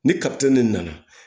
Ni de nana